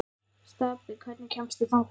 Stapi, hvernig kemst ég þangað?